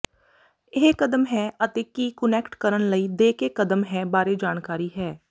ਇਹ ਕਦਮ ਹੈ ਅਤੇ ਕੀ ਕੁਨੈਕਟ ਕਰਨ ਲਈ ਦੇ ਕੇ ਕਦਮ ਹੈ ਬਾਰੇ ਜਾਣਕਾਰੀ ਹੈ